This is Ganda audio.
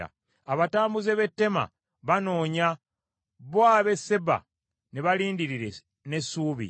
Abatambuze b’e Teema banoonya, bo ab’e Seeba ne balindirira n’essuubi.